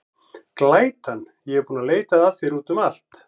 Glætan, ég er búin að leita að þér út um allt.